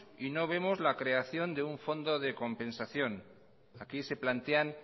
y vemos la creación de un fondo de compensación aquí se plantean